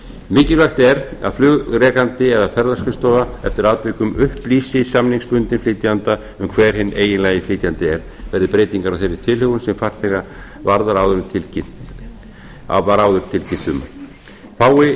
mikilvægt er að flugrekandi eða ferðaskrifstofa eftir atvikum upplýsi samningsbundinn flytjanda hver hinn eiginlegi flytjandi er verði breytingar á þeirri tilhögun sem farþega varðar áður en var áður tilkynnt um fái